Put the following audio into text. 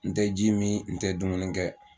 N tɛ ji min, n tɛ dumuni kɛ.